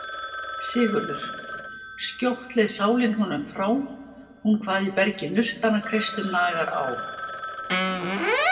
SIGURÐUR:. skjótt leið sálin honum frá, hún kvað í bergi nurtara kreistum nagar á.